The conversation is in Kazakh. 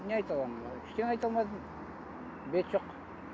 не айта аламын ештеңе айта алмадым бет жоқ